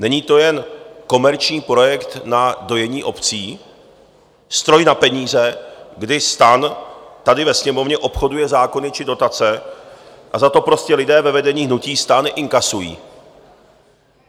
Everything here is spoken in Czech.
Není to jen komerční projekt na dojení obcí, stroj na peníze, kdy STAN tady ve Sněmovně obchoduje zákony či dotace a za to prostě lidé ve vedení hnutí STAN inkasují?